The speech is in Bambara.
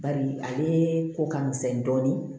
Bari ale ko ka misɛn dɔɔnin